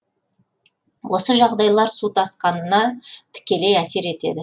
осы жағдайлар су тасқынына тікелей әсер етеді